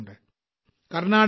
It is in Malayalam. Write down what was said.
കർണാടകയിലെ ശ്രീ